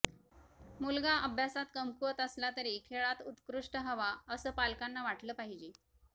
मुलगा अभ्यासात कमकुवत असला तरी खेळात उत्कृष्ट हवा असं पालकांंना वाटलं पाहिजे